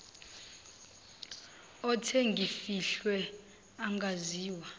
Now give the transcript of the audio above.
othe ngimfihle angaziwa